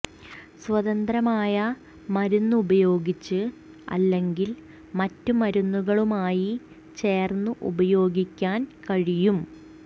സ്വതന്ത്രമായ മരുന്ന് ഉപയോഗിച്ച് അല്ലെങ്കിൽ മറ്റ് മരുന്നുകളുമായി ചേർന്ന് ഉപയോഗിക്കാൻ കഴിയും